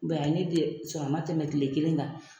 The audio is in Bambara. ye ne den sɔ a man tɛmɛ kile kelen kan.